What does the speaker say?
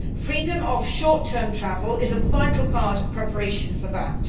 Freedom of short term travel is a vital part of preparation for that.